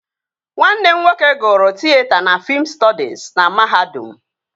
Nwanne m nwoke gụrụ tịyeta na fiim stọdis na mahadum